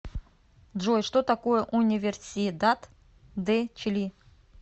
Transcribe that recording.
джой что такое универсидад де чили